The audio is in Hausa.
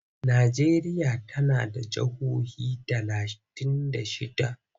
Najeriya tana da jihohi talatin da shidda.